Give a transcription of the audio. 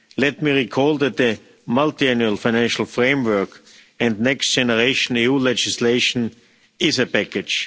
Let me recall that the Multiannual Financial Framework and Next Generation EU legislation is a package.